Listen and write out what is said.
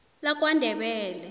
lakwandebele